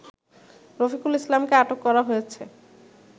রফিকুল ইসলামকে আটক করা হয়েছে